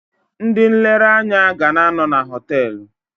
Ndị nlereanya ga na-anọ na họtelụ.